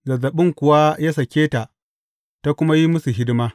Zazzaɓin kuwa ya sāke ta, ta kuma yi musu hidima.